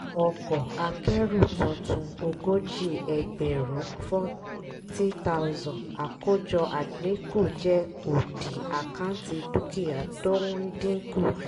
ọkọ̀ akẹ́rù tuntun ogójì ẹgbẹ̀rún (40000) àkójọ àdínkù jẹ́ òdì àkáǹtì dúkìá tó ń dínkù.